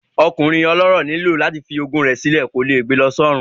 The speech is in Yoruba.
Ọkùnrin ọlọ́rọ̀ nílò láti fi ogún rẹ̀ sí lọ, kò lè gbe lọ sọ́run